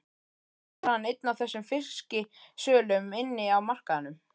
Kannski er hann einn af þessum fisksölum inni á markaðnum.